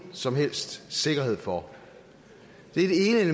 som helst sikkerhed for det er